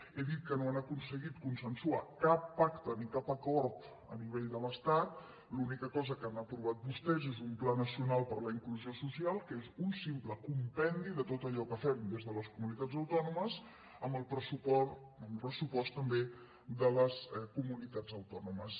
he dit que no han aconseguit consensuar cap pacte ni cap acord a nivell de l’estat l’única cosa que han aprovat vostès és un pla nacional per la inclusió social que és un simple compendi de tot allò que fem des de les comunitats autònomes amb el pressupost també de les comunitats autònomes